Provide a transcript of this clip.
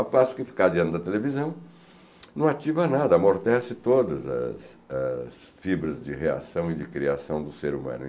Ao passo que ficar diante da televisão não ativa nada, amortece todas as as fibras de reação e de criação do ser humano.